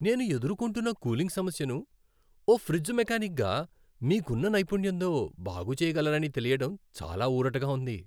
నేను ఎదుర్కొంటున్న కూలింగ్ సమస్యను, ఓ ఫ్రిజ్ మెకానిక్గా మీకున్న నైపుణ్యంతో బాగుచేయగలరని తెలియడం చాలా ఊరటగా ఉంది.